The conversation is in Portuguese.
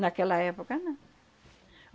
Naquela época não.